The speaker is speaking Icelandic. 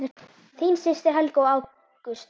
Þín systir Helga og Ágúst.